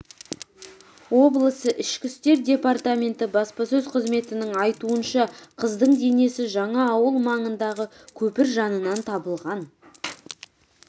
облысы ішкі істер департаменті баспасөз қызметінің айтуынша қыздың денесі жаңаауыл ауылы маңындағы көпір жанынан табылған